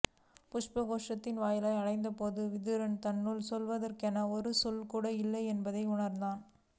புஷ்பகோஷ்டத்தின் வாயிலை அடைந்தபோது விதுரன் தன்னுள் சொல்வதற்கென ஒரு சொல்கூட இல்லை என்பதை உணர்ந்தான்